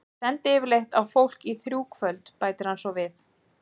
Ég sendi yfirleitt á fólk í þrjú kvöld, bætir hann svo við.